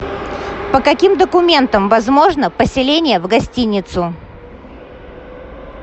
по каким документам возможно поселение в гостиницу